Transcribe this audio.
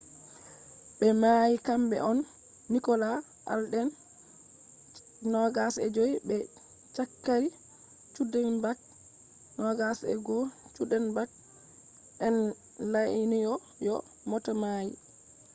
be mayi kambe on nicholas alden 25 be zachary cuddeback 21. cuddeback on la’nyo'yo mota mai